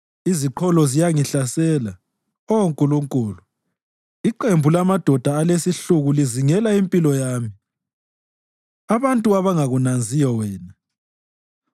Iziqholo ziyangihlasela, Oh Nkulunkulu iqembu lamadoda alesihluku lizingela impilo yami abantu abangakunanziyo wena.